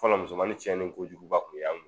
Fɔlɔ musomannin cɛnni kojuguba kun y'an